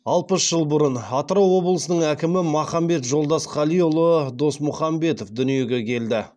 алпыс жыл бұрын атырау облысының әкімі махамбет жолдасқалиұлы досмұхамбетов дүниеге келді